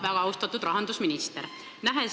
Väga austatud rahandusminister!